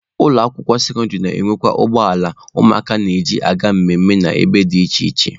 Ụlọ akwụkwọ sekọndịrị na-enwekwa ụgbọ ala ụmụakwụkwọ na-eji aga mmemme na ebe dị iche iche.